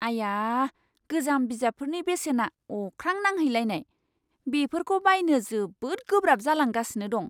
आया! गोजाम बिजाबफोरनि बेसेना अख्रां नांहैलायनाय! बेफोरखौ बायनो जोबोद गोब्राब जालांगासिनो दं।